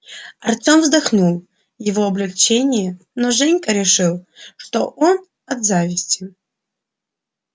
артём вздохнул от облегчения но женька решил что он от зависти